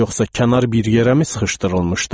Yoxsa kənar bir yerəmi sıxışdırılmışdı?